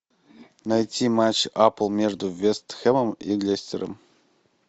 найти матч апл между вест хэмом и лестером